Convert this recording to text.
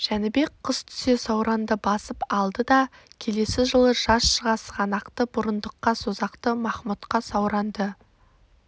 жәнібек қыс түсе сауранды басып алды да келесі жылы жаз шыға сығанақты бұрындыққа созақты махмұдқа сауранды